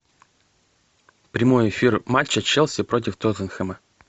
прямой эфир матча челси против тоттенхэма